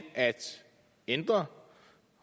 at ændre